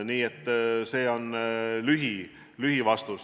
Selline on lühivastus.